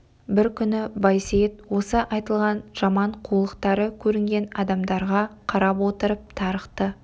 бір күні байсейіт осы айтылған жаман қулықтары көрінген адамдарға қарап отырып тарықты